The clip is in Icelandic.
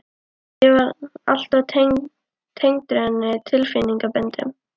Ég var alltaf tengdur henni tilfinningaböndum.